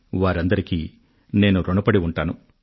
వారందరికీ నేను ఋణపడి ఉంటాను